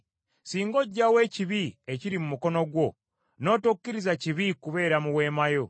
singa oggyawo ekibi ekiri mu mukono gwo, n’otokkiriza kibi kubeera mu weema yo,